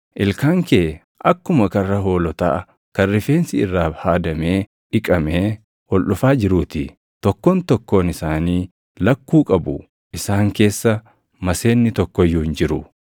Ilkaan kee akkuma karra hoolotaa kan rifeensi irraa haadamee dhiqamee ol dhufaa jiruu ti. Tokkoon tokkoon isaanii lakkuu qabu; isaan keessa maseenni tokko iyyuu hin jiru.